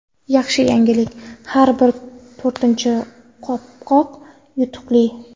Yaxshi yangilik: har bir to‘rtinchi qopqoq yutuqli.